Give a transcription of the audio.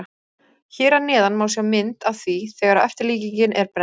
Hér að neðan má sjá mynd af því þegar eftirlíkingin er brennd.